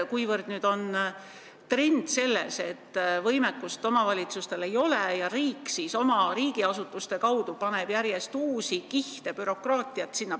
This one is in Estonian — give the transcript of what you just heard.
Nüüd on trend see, et omavalitsustel nagu võimekust ei ole ja riik laob oma asutuste kaudu järjest uusi kihte bürokraatiat peale.